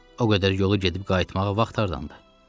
O qədər yolu gedib qayıtmağa vaxt hardandı?